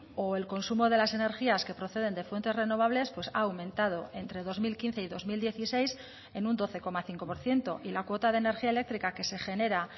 o el consumo de las energías que proceden de fuentes renovables pues ha aumentado entre dos mil quince y dos mil dieciséis en un doce coma cinco por ciento y la cuota de energía eléctrica que se genera